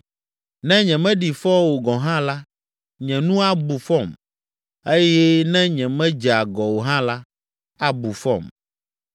Ne nyemeɖi fɔ o gɔ̃ hã la, nye nu abu fɔm, eye ne nyemedze agɔ o hã la, abu fɔm.